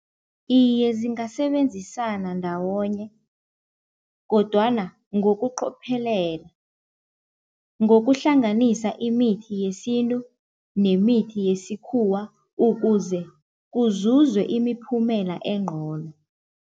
Iye zingasebenzisana ndawonye kodwana ngokuqophelela, ngokuhlanganisa imithi yesintu nemithi yesikhuwa ukuze kuzuzwe imiphumela engcono.